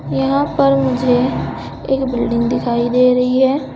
यहां पर मुझे एक बिल्डिंग दिखाई दे रही है।